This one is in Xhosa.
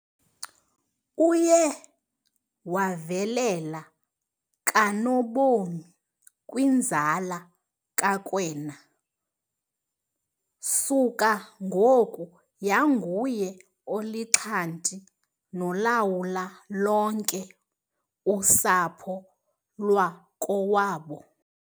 Uye wavelela kanobom kwinzala kaKwena, suka ngoku yanguye olixhanti nolawula lonke usapho lwakowabo.